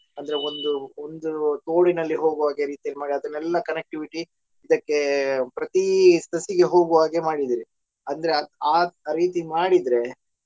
ಅಂದ್ರೆ ಒಂದು ಒಂದು ತೋಡಿನಲ್ಲಿ ಹೋಗುವ ಹಾಗೆ ರೀತಿಯಲ್ಲಿ ಮಾಡಿ ಅದನೆಲ್ಲ connectivity ಇದಕ್ಕೆ ಪ್ರತಿ ಸಸಿಗೆ ಹೋಗುವ ಹಾಗೆ ಮಾಡಿದಿರಿ ಅಂದ್ರೆ ಅ~ ಆ ರೀತಿ ಮಾಡಿದ್ರೆ.